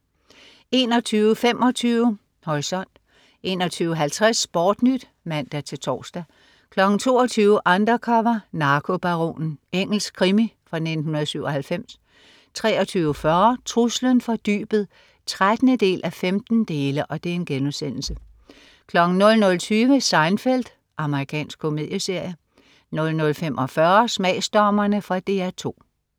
21.25 Horisont 21.50 SportNyt (man-tors) 22.00 Undercover: Narkobaronen. Engelsk krimi fra 1997 23.40 Truslen fra dybet 13:15* 00.20 Seinfeld. Amerikansk komedieserie 00.45 Smagsdommerne. Fra DR 2